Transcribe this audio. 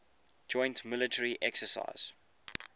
joint military exercises